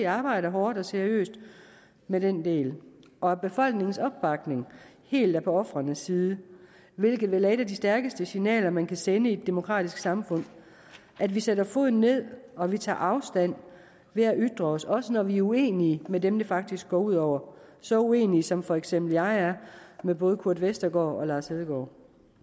arbejder hårdt og seriøst med den del og at befolkningens opbakning helt er på ofrenes side hvilket vel er et af de stærkeste signaler man kan sende i et demokratisk samfund at vi sætter foden ned og at vi tager afstand ved at ytre os også når vi er uenige med dem det faktisk går ud over så uenige som for eksempel jeg er med både kurt westergaard og lars hedegaard